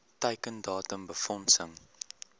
teiken datum befondsing